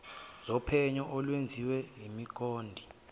zophenyo olwenziwe yikomidi